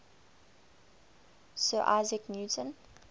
sir isaac newton